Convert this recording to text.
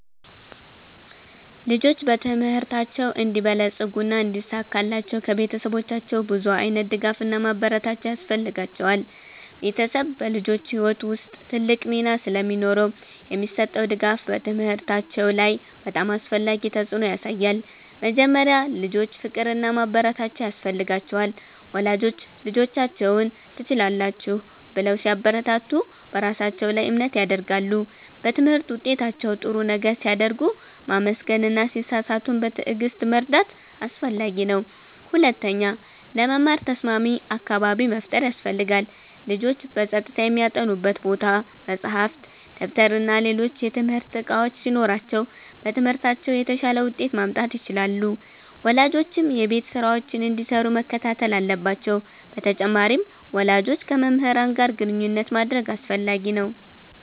ልጆች በትምህርታቸው እንዲበለጽጉና እንዲሳካላቸው ከቤተሰቦቻቸው ብዙ ዓይነት ድጋፍና ማበረታቻ ያስፈልጋቸዋል። ቤተሰብ በልጆች ሕይወት ውስጥ ትልቅ ሚና ስለሚኖረው የሚሰጠው ድጋፍ በትምህርታቸው ላይ በጣም አስፈላጊ ተፅዕኖ ያሳያል። መጀመሪያ፣ ልጆች ፍቅርና ማበረታቻ ያስፈልጋቸዋል። ወላጆች ልጆቻቸውን “ትችላላችሁ” ብለው ሲያበረታቱ በራሳቸው ላይ እምነት ያድጋሉ። በትምህርት ውጤታቸው ጥሩ ነገር ሲያደርጉ ማመስገን እና ሲሳሳቱም በትዕግሥት መርዳት አስፈላጊ ነው። ሁለተኛ፣ ለመማር ተስማሚ አካባቢ መፍጠር ያስፈልጋል። ልጆች በጸጥታ የሚያጠኑበት ቦታ፣ መጻሕፍት፣ ደብተርና ሌሎች የትምህርት እቃዎች ሲኖሯቸው በትምህርታቸው የተሻለ ውጤት ማምጣት ይችላሉ። ወላጆችም የቤት ስራቸውን እንዲሰሩ መከታተል አለባቸው በተጨማሪም፣ ወላጆች ከመምህራን ጋር ግንኙነት ማድረግ አስፈላጊ ነው።